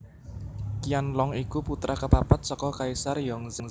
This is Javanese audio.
Qianlong iku putra kapapat saka Kaisar Yongzheng